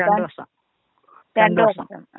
രണ്ട് വർഷാ. രണ്ട് വർഷം.